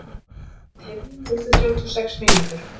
Ketill, heyrðu í mér eftir þrjátíu og sex mínútur.